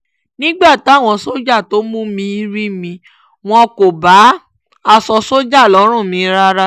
nígbà táwọn sójà tó mú mi rí mi wọn kò bá aṣọ sójà lọ́rùn mi rárá